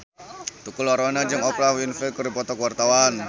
Tukul Arwana jeung Oprah Winfrey keur dipoto ku wartawan